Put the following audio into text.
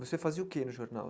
Você fazia o quê no jornal?